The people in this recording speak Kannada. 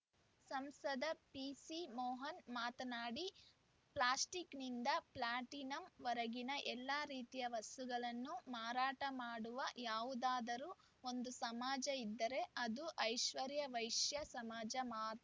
ಸಂಸದ ಪಿಸಿಮೋಹನ್‌ ಮಾತನಾಡಿ ಪ್ಲಾಸ್ಟಿಕ್‌ನಿಂದ ಪ್ಲಾಟಿನಂ ವರೆಗಿನ ಎಲ್ಲ ರೀತಿಯ ವಸ್ತುಗಳನ್ನೂ ಮಾರಾಟ ಮಾಡುವ ಯಾವುದಾದರೂ ಒಂದು ಸಮಾಜ ಇದ್ದರೆ ಅದು ಆಶ್ವರ್ಯ ವೈಶ್ಯ ಸಮಾಜ ಮಾತ್ರ